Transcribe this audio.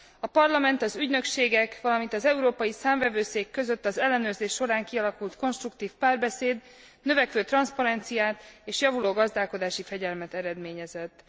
A Parlament, az ügynökségek, valamint az Európai Számvevőszék között az ellenőrzés során kialakult konstruktív párbeszéd növekvő transzparenciát és javuló gazdálkodási fegyelmet eredményezett.